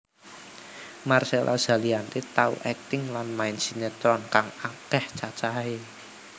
Marcella Zalianty tau akting lan main sinetron kang akéh cacahé